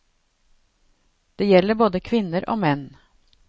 Det gjelder både menn og kvinner.